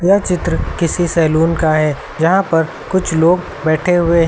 यह चित्र किसी सैलून का है जहां पर कुछ लोग बैठे हुए हैं।